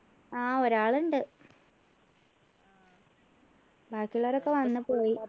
ആഹ് ഒരാളുണ്ട് ബാക്കിയുള്ളവരൊക്കെ വന്നു പോയി